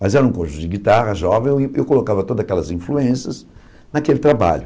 Mas era um conjunto de guitarra, jovem, e eu in eu colocava todas aquelas influências naquele trabalho.